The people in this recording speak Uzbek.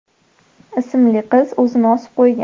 ismli qiz o‘zini osib qo‘ygan.